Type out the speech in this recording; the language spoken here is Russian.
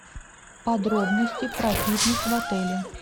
подробности про фитнес в отеле